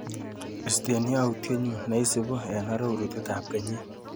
Istee yautyenyu neisupi eng arorutab kenyit.